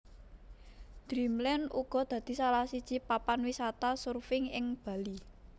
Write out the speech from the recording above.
Dreamland uga dadi salah siji papan wisata surfing ing Bali